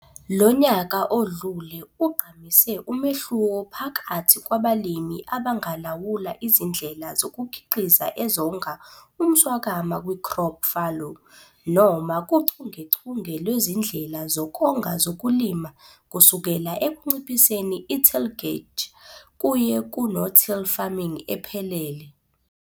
Lonyaka odlule ugqamise umehluko phakathi kwabalimi abangalawula izindlela zokukhiqiza ezonga umswakama kwi-crop fallow noma kuchungechunge lwezindlela zokonga zokulima kusukela ekunciphiseni i-tillage kuye ku-no till farming ephelele.